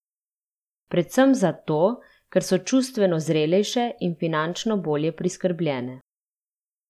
Predvsem zato, ker so čustveno zrelejše in finančno bolje priskrbljene.